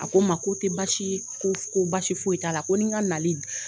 A ko n ma ko tɛ baasi ye ko ko baasi foyi t'a la ko ni n ka nali